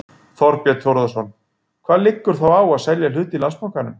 Þorbjörn Þórðarson: Hvað liggur þá á að selja hlut í Landsbankanum?